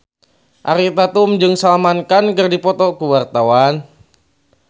Ariel Tatum jeung Salman Khan keur dipoto ku wartawan